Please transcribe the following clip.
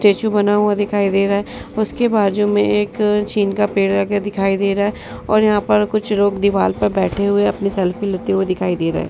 Statue बना हुआ दिखाई दे रहा है। उसके बाजू में एक छीन का पेड़ लगा दिखाई दे रहा है और यहाँ पर कुछ लोग दीवाल पे बैठे हुए हैं। अपनी सेल्फी लेते हुए दिखाई दे रहे हैं।